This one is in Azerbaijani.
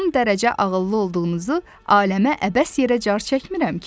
Son dərəcə ağıllı olduğunuzu aləmə əbəs yerə car çəkmirəm ki?